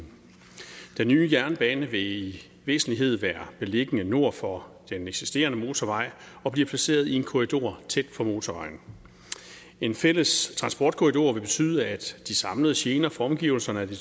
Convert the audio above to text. den nye jernbane vil i væsentlighed være beliggende nord for den eksisterende motorvej og bliver placeret i en korridor tæt på motorvejen en fælles transportkorridor vil betyde at de samlede gener for omgivelserne af de